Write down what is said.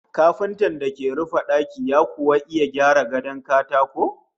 Kafintan da ke rufe daki ya kuwa iya gyara gadon katako?